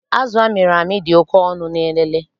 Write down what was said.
Azụ amịrị amị dị oké ọnụ n'Elele